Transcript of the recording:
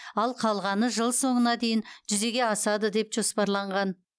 ал қалғаны жыл соңына дейін жүзеге асады деп жоспарланған